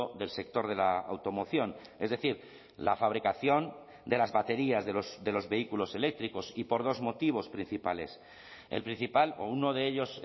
del sector de la automoción es decir la fabricación de las baterías de los vehículos eléctricos y por dos motivos principales el principal o uno de ellos